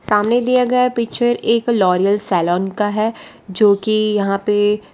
सामने दिया गया पिक्चर एक लॉरिअल सैलून का है जो कि यहां पे --